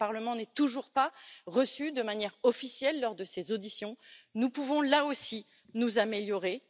Le Parlement n'est toujours pas reçu de manière officielle lors de ces auditions nous pouvons là aussi nous améliorer.